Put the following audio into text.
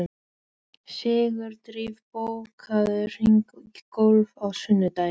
Sigurdríf, bókaðu hring í golf á sunnudaginn.